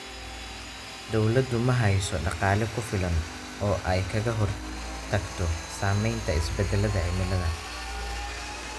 Dawladdu ma haysato dhaqaale ku filan oo ay kaga hortagto saamaynta isbeddelka cimilada.